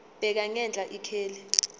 bheka ngenhla ikheli